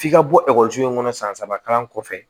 F'i ka bɔ ekɔliso in kɔnɔ san saba kalan kɔfɛ